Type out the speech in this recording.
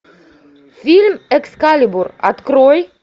фильм экскалибур открой